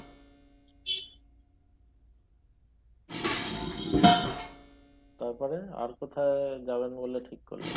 তারপরে আর কোথায় যাবেন বলে ঠিক করলেন ?